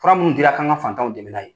Fura minnu dira k'an ka fantanw dɛmɛ n'a ye.